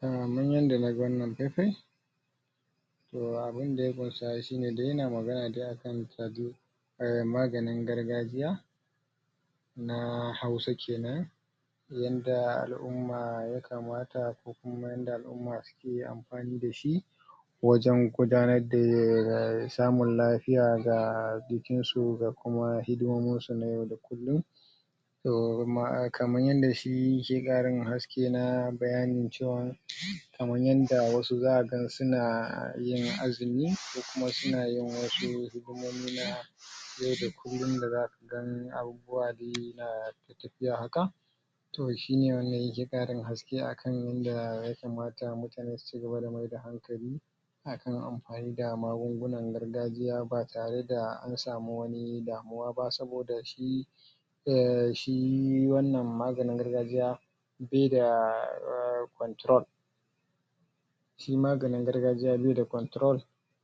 Kaman yanda na gan wannan fai-fai, toh abun da ya bunsa toh ya na magana ne akan um maganin gargajiya na Hausa kenan. Yanda al'umma ya kamata kaman yanda alumma suke amfani dashi wajen gudanar da samun lafiya ga jikin su da kuma hidimominsu na yau da kullun. Toh kaman yanda shi yake karin haske na bayanin cewan kaman yanda wasu za'a ga su na yin azimi kuma su na yin wasu hikimomi na yau da kullun da za su danyi abubuwa ya haka toh shine wanda yake tadin haske a kan yanda ya kamata mutane su cigaba da mai da hankali akan amfani da magungunan gargajiya, ba tare da an samu wani da amma ba saboda shi shi wannan maganin gargajiya bai da um control shi maganin gargajiya bai da control